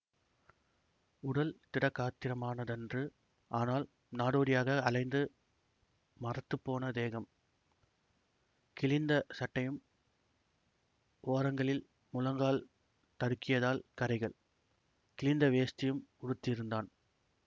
உடல் திடகாத்திரமானதன்று ஆனால் நாடோடியாக அலைந்து மரத்துப்போன தேகம் கிழிந்த சட்டையும் ஓரங்களில் முழங்கால் தடுக்கியதால் கரைகள் கிழிந்த வேஷ்டியும் உடுத்தியிருந்தான்